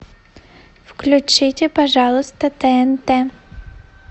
включите пожалуйста тнт